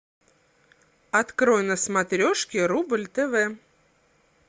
открой на смотрешке рубль тв